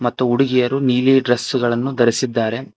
ಮತ್ತು ಹುಡುಗಿಯರು ನೀಲಿ ಡ್ರೆಸ್ ಗಳನ್ನು ಧರಿಸಿದ್ದಾರೆ.